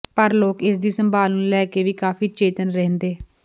ਪਰ ਲੋਕ ਇਸ ਦੀ ਸੰਭਾਲ ਨੂੰ ਲੈ ਕੇ ਵੀ ਕਾਫ਼ੀ ਚੇਤੰਨ ਰਹਿੰਦੇ